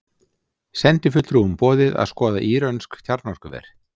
Sendifulltrúum boðið að skoða írönsk kjarnorkuver